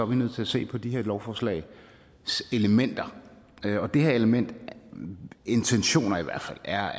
vi nødt til at se på det her lovforslags elementer og det her element intentionerne i hvert fald er